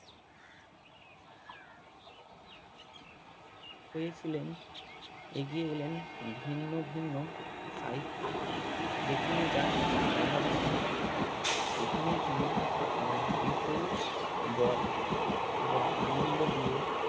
হয়েছিলেন এগিয়ে এলেন ভিন্ন ভিন্ন সাহিত্য যেখানে যা কিছু অভাব ছিল সেখানেই তিনি আপনার বিপুল বল এবং আনন্দ দিয়ে